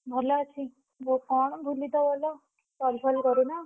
ଭଲ ଅଛି, ବ କଣ ଭୁଲିତ ଗଲ, call ଫଲ୍ କରୁନ।